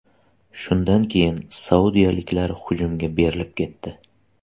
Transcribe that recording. Shundan keyin saudiyaliklar hujumga berilib ketdi.